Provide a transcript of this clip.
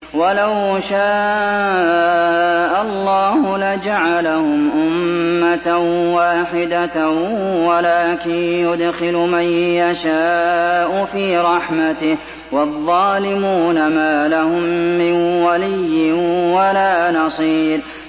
وَلَوْ شَاءَ اللَّهُ لَجَعَلَهُمْ أُمَّةً وَاحِدَةً وَلَٰكِن يُدْخِلُ مَن يَشَاءُ فِي رَحْمَتِهِ ۚ وَالظَّالِمُونَ مَا لَهُم مِّن وَلِيٍّ وَلَا نَصِيرٍ